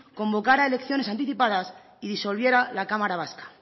convocara elecciones anticipadas y disolviera la cámara vasca